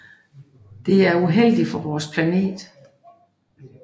Det er uheldigt for vores planet